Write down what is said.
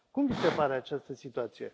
Cum vi se pare această situație?